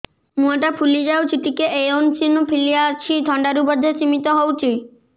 ମୁହଁ ଟା ଫୁଲି ଯାଉଛି ଟିକେ ଏଓସିନୋଫିଲିଆ ଅଛି ଥଣ୍ଡା ରୁ ବଧେ ସିମିତି ହଉଚି